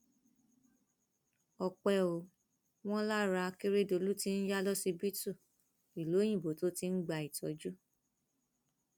ọpẹ ò wọn lára akérèdólú tí ń ya lọsibítù ìlú òyìnbó tó ti ń gba ìtọjú